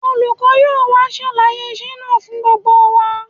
Olùkọ́ yóò wá ṣàlàyé iṣẹ́ náà fún gbogbo wa